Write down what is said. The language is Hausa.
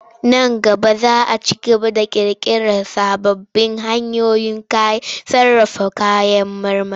Nan gaba za a ci gaba da ƙirƙirar sababbin hanyoyin sarrafa kayan marmari.